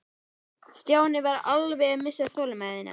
Stjáni var alveg að missa þolinmæðina.